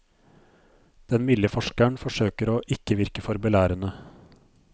Den milde forskeren forsøker å ikke virke for belærende.